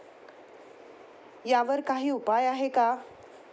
यावर काही उपाय आहे का?